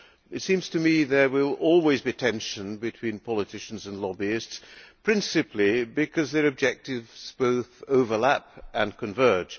It seems to me there will always be tension between politicians and lobbyists, principally because their objectives both overlap and converge.